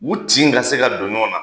U tin ka se ka don ɲɔgɔn na.